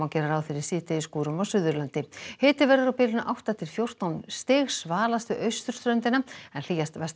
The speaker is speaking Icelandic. ráð fyrir síðdegisskúrum á Suðurlandi hiti verður á bilinu átta til fjórtán stig við austurströndina en hlýjast vestan